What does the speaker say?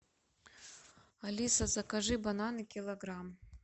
алиса закажи бананы килограмм